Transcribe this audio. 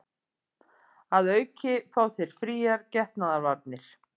Að auki fá þau fríar getnaðarvarnir